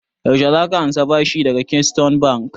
Yaushe za ka ansa bashin daga keystone bank?